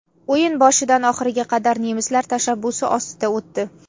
O‘yin boshidan oxiriga qadar nemislar tashabbusi ostida o‘tdi.